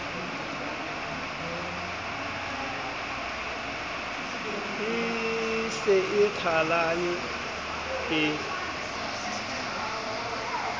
e se e qhalane e